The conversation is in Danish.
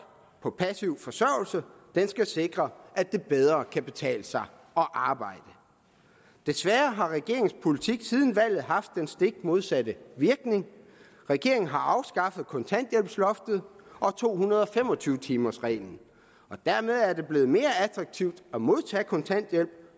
på passiv forsørgelse den skal sikre at det bedre kan betale sig at arbejde desværre har regeringens politik siden valget haft den stik modsatte virkning regeringen har afskaffet kontanthjælpsloftet og to hundrede og fem og tyve timers reglen dermed er det blevet mere attraktivt at modtage kontanthjælp